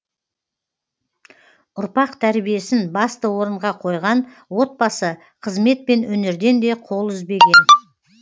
ұрпақ тәрбиесін басты орынға қойған отбасы қызмет пен өнерден де қол үзбеген